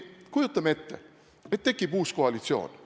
Kujutame ette, et tekib uus koalitsioon.